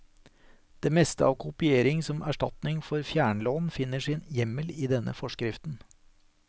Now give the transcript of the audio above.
Det meste av kopiering som erstatning for fjernlån finner sin hjemmel i denne forskriften.